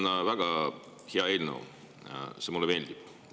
See on väga hea eelnõu, mulle see meeldib.